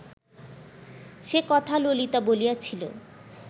সে কথা ললিতা বলিয়াছিল